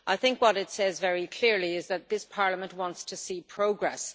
I think what it says very clearly is that this Parliament wants to see progress.